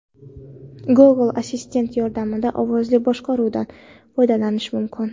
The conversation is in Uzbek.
Google-assistent yordamida ovozli boshqaruvdan foydalanish mumkin.